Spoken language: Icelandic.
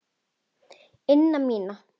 ina mína.